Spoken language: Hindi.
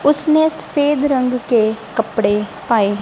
उसने सफ़ेद रंग के कपड़े पाए--